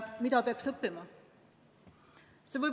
Mida peaks õppima?